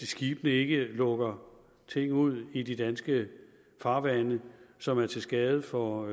skibene ikke lukker ting ud i de danske farvande som er til skade for